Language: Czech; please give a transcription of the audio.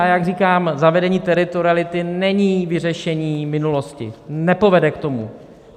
A jak říkám, zavedení teritoriality není vyřešení minulosti, nepovede k tomu.